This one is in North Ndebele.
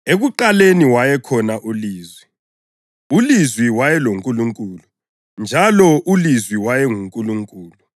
Ekuqaleni wayekhona uLizwi, uLizwi wayeloNkulunkulu, njalo uLizwi wayenguNkulunkulu.